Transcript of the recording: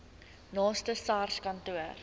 naaste sars kantoor